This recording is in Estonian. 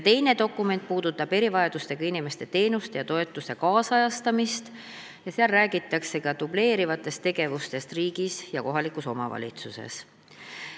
Teine dokument puudutab erivajadustega inimeste teenuste ja toetuse nüüdisajastamist, seal räägitakse ka dubleerivatest tegevustest riigis ja kohalikus omavalitsuses.